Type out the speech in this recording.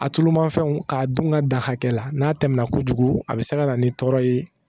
A tulu manfɛnw k'a dun ka da hakɛ la n'a tɛmɛna kojugu a bɛ se ka na ni tɔɔrɔ ye